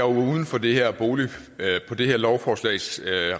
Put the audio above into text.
uden for det her lovforslags